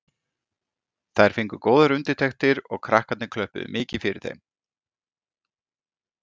Þær fengu góðar undirtektir og krakkarnir klöppuðu mikið fyrir þeim.